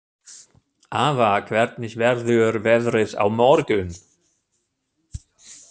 Ava, hvernig verður veðrið á morgun?